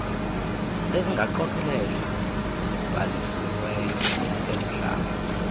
bezingqokelela zibhalisiweyo ezihlala